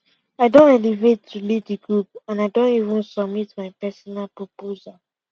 i don elevate to lead the group and and i don even submit my personal proposal